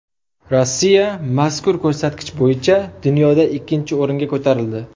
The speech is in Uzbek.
Rossiya mazkur ko‘rsatkich bo‘yicha dunyoda ikkinchi o‘ringa ko‘tarildi.